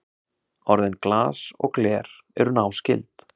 Orðin glas og gler eru náskyld.